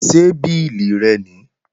Ṣé bílì rẹ nìí?